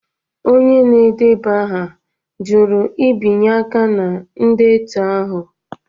Onye na-edeba aha jụrụ ibinye aka na ndetu ahụ